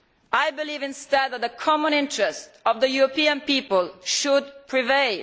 I believe instead that the common interest of the European people should prevail.